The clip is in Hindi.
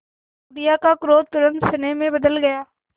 बुढ़िया का क्रोध तुरंत स्नेह में बदल गया